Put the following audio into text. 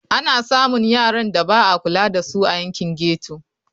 Ana samun yaran da ba a kula da su a yankin ghetto.